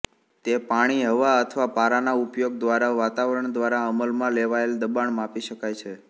તે પાણી હવા અથવા પારાના ઉપયોગ દ્વારા વાતાવરણ દ્વારા અમલમાં લેવાયેલ દબાણ માપી શકાય છે